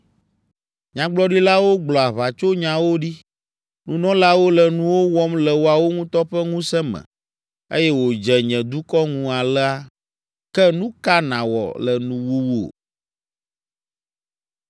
Nyagblɔɖilawo gblɔ aʋatsonyawo ɖi. Nunɔlawo le nuwo wɔm le woawo ŋutɔ ƒe ŋusẽ me eye wòdze nye dukɔ ŋu alea. Ke nu ka nàwɔ le nuwuwu?”